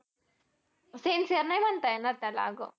Sincere नाही म्हणता येणार अगं